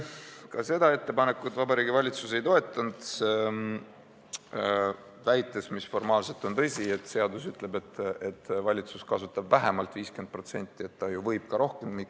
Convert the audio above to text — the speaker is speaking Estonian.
Ka seda ettepanekut Vabariigi Valitsus ei toetanud, väites – mis formaalselt on tõsi –, et seaduse järgi valitsus kasutab vähemalt 50%, st ta võib ka rohkem kasutada.